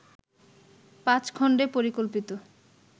পাঁচ খন্ডে পরিকল্পিত